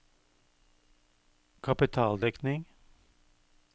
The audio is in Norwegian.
kapitaldekning